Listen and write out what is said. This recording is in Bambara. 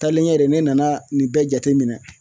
Taalen ɲɛ de ne nana nin bɛɛ jateminɛ